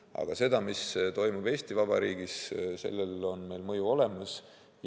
Aga sellele, mis toimub Eesti Vabariigis, on meil mõju olemas.